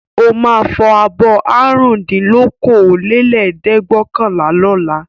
Ó máa fọ abọ́ àrùndínlókòólẹ́ẹ̀dẹ́gbẹ̀ọ̀kànlá lọ́la.